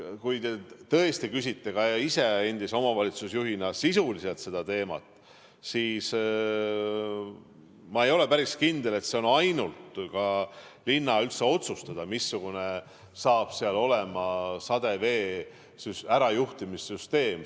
Kui te küsite ka ise endise omavalitsusjuhina sisuliselt selle teema kohta, siis ma ei ole päris kindel, et see on üldse ainult linna otsustada, missugune saab seal olema sademevee ärajuhtimise süsteem.